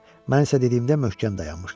Mən isə dediyimdə möhkəm dayanmışdım.